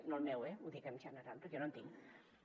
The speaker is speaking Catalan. no el meu eh ho dic en general perquè jo no en tinc